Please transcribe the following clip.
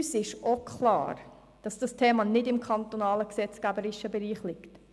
Uns ist auch klar, dass dieses Thema nicht im kantonalen gesetzgeberischen Bereich liegt.